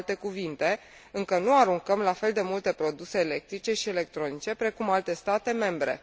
Cu alte cuvinte, încă nu aruncăm la fel de multe produse electrice și electronice precum alte state membre.